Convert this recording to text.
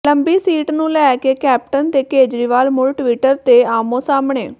ਲੰਬੀ ਸੀਟ ਨੂੰ ਲੈ ਕੇ ਕੈਪਟਨ ਤੇ ਕੇਜਰੀਵਾਲ ਮੁੜ ਟਵਿੱਟਰ ਤੇ ਆਹਮੋ ਸਾਹਮਣੇ